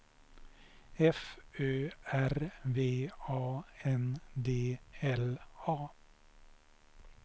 F Ö R V A N D L A